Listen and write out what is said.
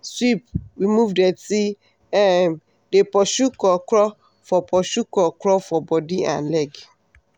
sweep remove dirty um dey pursue krokro for pursue krokro for body and leg.